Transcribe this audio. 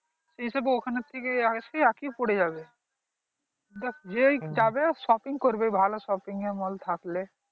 এসব ওখান থেকে এসে একই পড়ে যাবে দেখ যেই যাবে shopping করবে ভালো shopping mall থাকলে